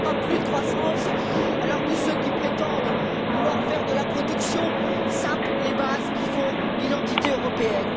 Il n'y aura pas plus de croissance, alors que ceux qui prétendent vouloir faire de la protection sapent les bases qui font l'identité européenne.